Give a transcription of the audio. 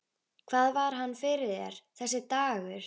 Hvað var hann fyrir þér, þessi dagur.